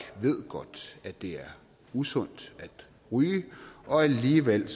ved godt at det er usundt at ryge og alligevel